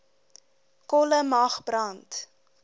kolle mag brand